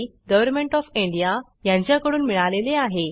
government of India यांच्याकडून मिळालेले आहे